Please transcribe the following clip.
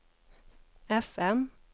fm